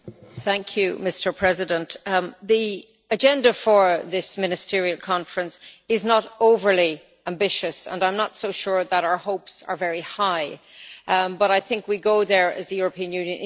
Mr President, the agenda for this ministerial conference is not overly ambitious and I am not so sure that our hopes are very high, but I think we will go there as the European Union in good faith.